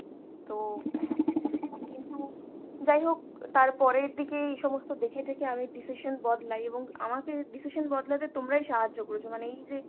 তো কিন্তু যাইহোক তারপরের দিকে এইসমস্ত দেখে-টেখে আমি decision বদলাই এবং আমাকে decision বদলাতে তোমরাই সাহায্য করেছো। মানে এই যে